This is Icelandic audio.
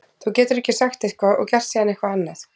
Þú getur ekki sagt eitthvað og gert síðan eitthvað annað.